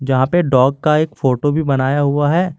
यहां पे डॉग का एक फोटो भी बनाया हुआ है।